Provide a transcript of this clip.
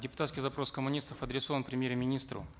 депутатский запрос коммунистов адресован премьер министру